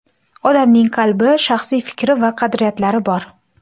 Odamning qalbi, shaxsiy fikri va qadriyatlari bor.